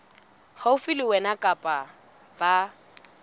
haufi le wena kapa ba